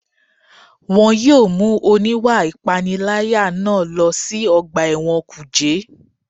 Wọ́n yóò mú oníwà ìpániláyà náà lọ sí ọgbà ẹ̀wọ̀n kùjé